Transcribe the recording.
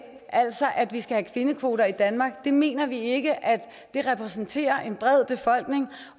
altså at vi skal have kvindekvoter i danmark mener vi ikke at man repræsenterer den brede befolkning